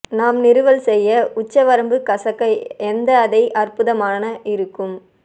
நாம் நிறுவல் செய்ய உச்சவரம்பு கசக்க எந்த அதை அற்புதமான இருக்கும்